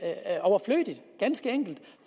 enkelt